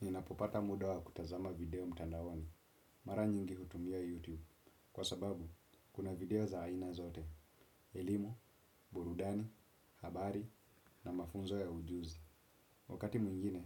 Ninapopata muda wa kutazama video mtandaoni, mara nyingi hutumia YouTube, kwa sababu kuna video za aina zote, ilimo, burudani, habari na mafunzo ya ujuzi. Wakati mwingine,